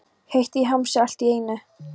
Heitt í hamsi allt í einu.